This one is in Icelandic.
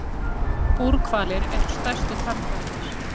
Búrhvalir eru stærstu tannhvalirnir.